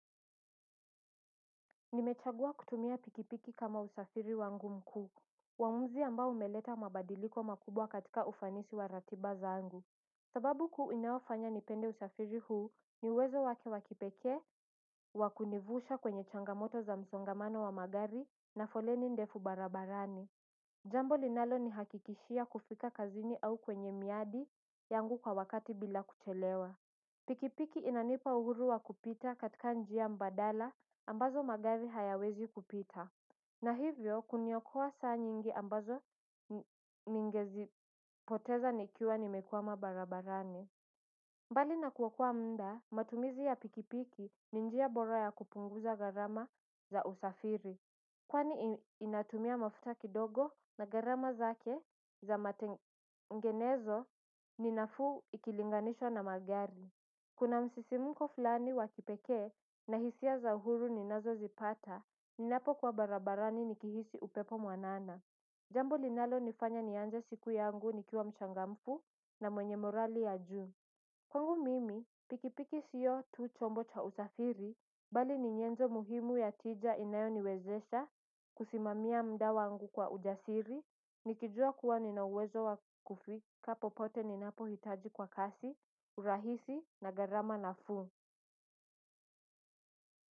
Nimechagua kutumia pikipiki kama usafiri wangu mkuu. Waumuzi ambao umeleta mabadiliko makubwa katika ufanisi wa ratiba zangu. Sababu kuu inaofanya nipende usafiri huu ni uwezo wake wa kipekee wa kunivusha kwenye changamoto za msongamano wa magari na foleni ndefu barabarani. Jambo linalo nihakikishia kufika kazini au kwenye miadi yangu kwa wakati bila kuchelewa. Pikipiki inanipa uhuru wa kupita katika njia mbadala ambazo magari hayawezi kupita na hivyo kuniokoa saa nyingi ambazo ningezi poteza nikiwa nimekuama barabarani. Mbali na kuokoa muda matumizi ya pikipiki ni njia bora ya kupunguza gharama za usafiri kwani inatumia mafuta kidogo na gharama zake za matengenezo ni nafuu ikilinganishwa na magari. Kuna msisimuko fulani wa kipeke na hisia za uhuru ninazo zipata ninapo kwa barabarani nikihisi upepo mwanana. Jambo linalo nifanya nianze siku yangu nikiwa mchangamfu na mwenye morali ya jun. Kwangu mimi pikipiki siyo tu chombo cha usafiri bali ni nyenzo muhimu ya tija inayo niwezesha kusimamia muda wangu kwa ujasiri. Nikijua kuwa nina hwezo wa kufika popote ninapohitaji kwa kasi, urahisi na gharama na fuu.